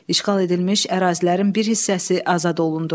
İşğal edilmiş ərazilərin bir hissəsi azad olundu.